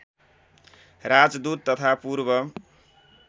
राजदूत तथा पूर्व